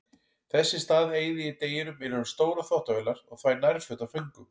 Þess í stað eyði ég deginum innan um stórar þvottavélar og þvæ nærföt af föngum.